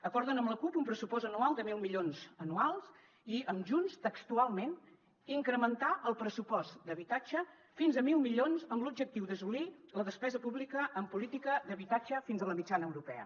acorden amb la cup un pressupost anual de mil milions anuals i amb junts textualment incrementar el pressupost d’habitatge fins a mil milions amb l’objectiu d’assolir la despesa pública en política d’habitatge fins a la mitjana europea